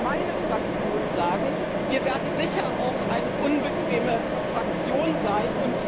Ich kann für meine Fraktion sagen, wir werden sicher auch eine unbequeme Fraktion sein.